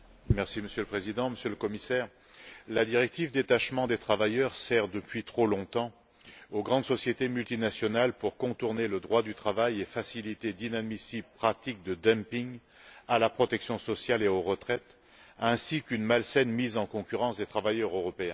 Monsieur le Président, Monsieur le Commissaire, la directive sur le détachement des travailleurs sert depuis trop longtemps aux grandes sociétés multinationales pour contourner le droit du travail et faciliter d'inadmissibles pratiques de dumping en matière sociale et de retraite, ainsi qu'une mise en concurrence malsaine des travailleurs européens.